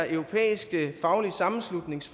europæiske faglige sammenslutnings